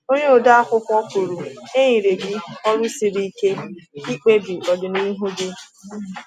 Onye ode akwụkwọ kwuru: “E nyere gị ọrụ siri ike—ịkpebi ọdịnihu gị.